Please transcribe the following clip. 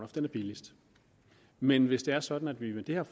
den er billigst men hvis det er sådan at vi med det her